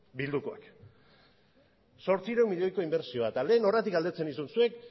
bildukoak zortziehun milioiko inbertsioa eta lehen horregatik galdetzen nizun zuek